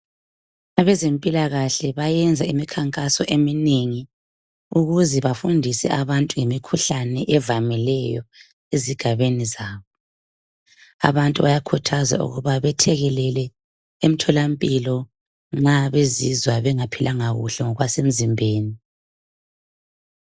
Abezempilakahle bayenza imikhankaso eminengi ukuze bafundise abantu ngemikhuhlane evamileyo ezigabeni zabo. Abantu bayakhuthazwa ukuba bethekelele emtholampilo nxa bezizwa bengaphilanga kuhle ngokwasemzimbeni.